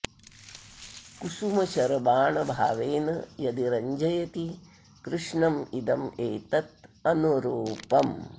कुसुम शर बाण भावेन यदि रंजयति कृष्णम् इदम् एतत् अनुरूपम्